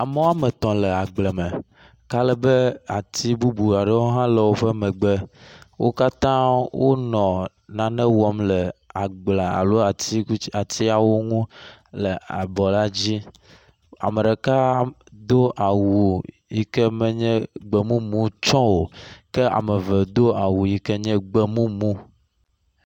Ame wome etɔ̃ le agble me ale be ati bubu aɖewo hã le woƒe megbe. Wo katã wonɔ nane wɔm le agblea alo atiku alo atiawo ŋu le abɔ la dzi. Ame ɖeka do awu yi ke menye gbemumu tsɛ o ke ame do awu yi ke nye gbemumu.